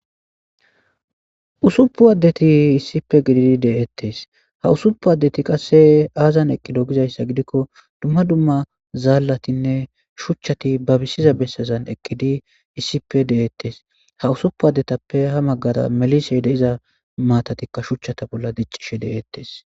usuppu addeti issipe gididi de7ettes ha usuppu addeti qasse aazan eqqido gizayssa gidikko dumma dumma zaallatinne shuchchati babisiza bessazan eqkidi issipe de7ettes ha usuppu addetappe ha maggada melisey deiza matatikka shuchchata bolla diccishe de7ettes